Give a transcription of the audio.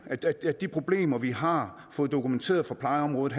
at at de problemer vi har fået dokumenteret på plejeområdet